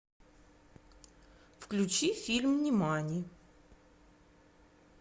включи фильм нимани